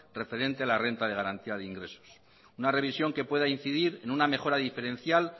referente a la renta de garantía de ingresos una revisión que pueda incidir en una mejora diferencial